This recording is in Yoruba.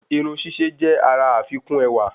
Irun síse jẹ àrà àfikùn ẹwà